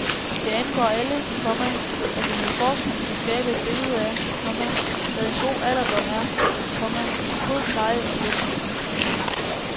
Det angår alle, komma at vi med forskning kan skabe et billede af, komma hvad en god alderdom er, komma god pleje og hjælp. punktum